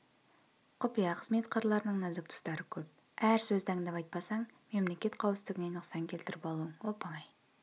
құпия қызмет қырларының нәзік тұстары көп әр сөзді аңдап айтпасаң мемлекет қауіпсіздігіне нұқсан келтіріп алуың оп-оңай